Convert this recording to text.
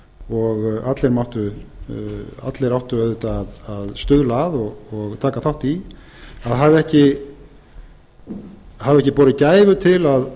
og allir áttu auðvitað að stuðla að og taka þátt í að hafa ekki borið gæfu til